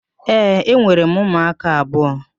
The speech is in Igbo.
Ee, enwere m ụmụaka abụọ.